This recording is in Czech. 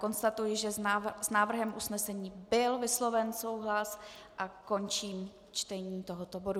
Konstatuji, že s návrhem usnesení byl vysloven souhlas, a končím čtení tohoto bodu.